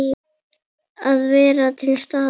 Að vera til staðar.